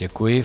Děkuji.